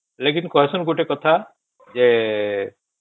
ଲେକିନ କାହାସନ ଗୋଟେ କଥା ଯେ